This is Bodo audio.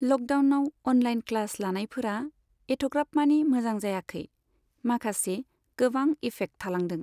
लकडाउनाव अनलाइन क्लास लानायफोरा एथ'ग्राब मानि मोजां जायाखै। माखासे गोबां इफेक्ट थालांदों।